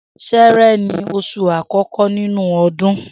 S̩e̩e̩re̩ ni os̩ù àkó̩kó̩ nínú o̩dún